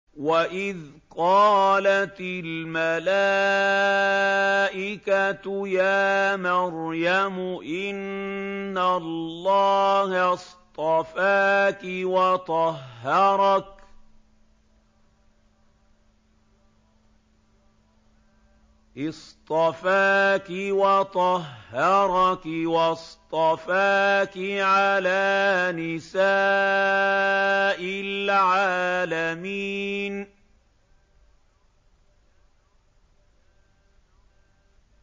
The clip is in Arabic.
وَإِذْ قَالَتِ الْمَلَائِكَةُ يَا مَرْيَمُ إِنَّ اللَّهَ اصْطَفَاكِ وَطَهَّرَكِ وَاصْطَفَاكِ عَلَىٰ نِسَاءِ الْعَالَمِينَ